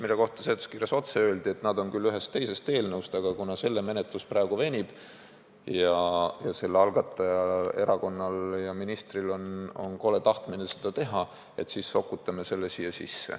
Nende kohta öeldi seletuskirjas otse, et need on võetud küll ühest teisest eelnõust, aga kuna selle menetlus praegu venib ning selle algatanud erakonnal ja ministril on kole tahtmine need muudatused ellu viia, siis sokutame need siia.